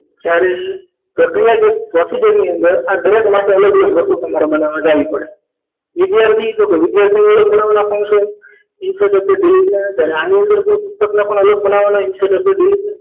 જ્યારે ક્રિયાજક procedure ની અંદર આ દરેક માટે અલગ અલગ વસ્તુ તમારા માટે બજાવી પડે વિદ્યાર્થી તો કે વિદ્યાર્થીઓ એ બનાવેલા function insert કે delete ના થાય તે તો એની અંદર પુસ્તક પણ બનાવવાના insert કે delete